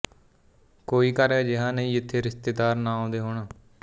ਕੋਈ ਘਰ ਅਜਿਹਾ ਨਹੀਂ ਜਿੱਥੇ ਰਿਸ਼ਤੇਦਾਰ ਨਾ ਆਉਂਦੇ ਹੋਣ